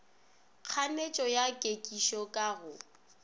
kganetšo ya kekišo ka go